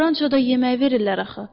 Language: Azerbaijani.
Rançoda yemək verirlər axı.